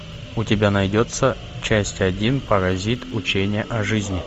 у тебя найдется часть один паразит учение о жизни